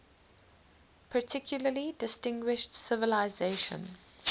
particularly distinguished civilization